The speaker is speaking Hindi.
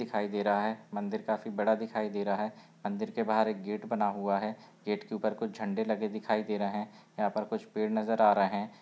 दिखाई दे रहा है मंदिर काफी बड़ा दिखाई दे रहा है मंदिर के बाहर एक गेट बना हुआ है गेट के ऊपर कुछ झंडे लगे दिखाई दे रहे हैं यहाँ पर कुछ पेड़ नजर आ रहे --